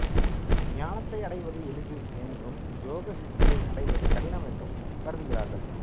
ஞானத்தை அடைவது எளிது என்றும் யோக சித்தியை அடைவது கடினம் என்று கருதுகிறார்கள்